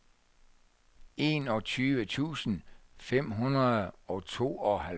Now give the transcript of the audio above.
enogtyve tusind fem hundrede og tooghalvfjerds